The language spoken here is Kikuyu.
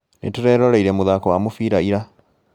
Nĩtũreroreire mũthako wa mũbira ira